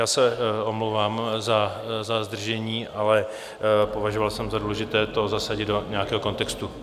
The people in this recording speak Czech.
Já se omlouvám za zdržení, ale považoval jsem za důležité to zasadit do nějakého kontextu.